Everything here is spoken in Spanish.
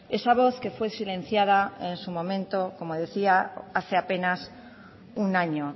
esa voz que fue silenciada en su momento como decía hace apenas un año